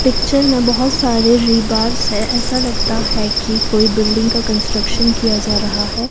Picture में बहोत सारे रिबार्स है ऐसा लगता है की कोई बिल्डिंग का कंस्ट्रक्शन किया जा रहा है।